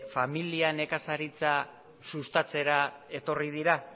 familia nekazaritzar sustatzera etorri dira